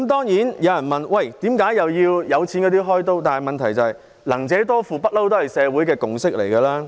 有人會問為何要向有錢人"開刀"，但"能者多付"一向是社會的共識。